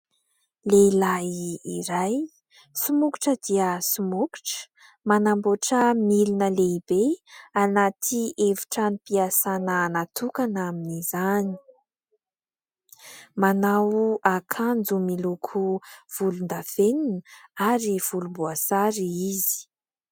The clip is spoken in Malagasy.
Lehilahy iray somokotra dia somokotra, manamboatra milina lehibe anaty efitranom-piasana natokana amin'izany. Manao akanjo miloko volondavenina ary volomboasary izy.